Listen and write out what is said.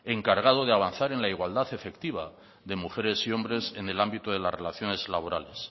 encargado de avanzar en la igualdad efectiva de mujeres y hombres en el ámbito de las relaciones laborales